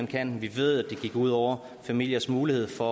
kan vi ved at det gik ud over familiers mulighed for